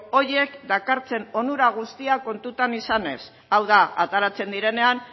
horiek dakartzaten onura guztiak kontutan izanez hau da ateratzen direnean